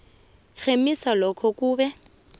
rhemisa lokho okube